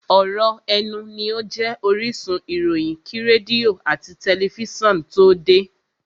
ọ̀ rọ̀ ẹnu ní ó jẹ́ orísun ìròyìn kí rédíò àti tẹlifísàn tó de.